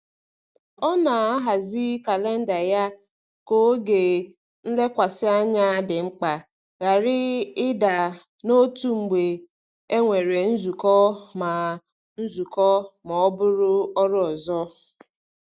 Ọ na-ahazi kalenda ya ka oge nlekwasị anya dị mkpa ghara ịda n’otu mgbe e nwere nzukọ ma ọ nzukọ ma ọ bụ ọrụ ọzọ.